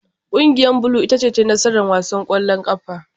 Kungiyar blue ce ta yi nasara a wasan kwallon kafa.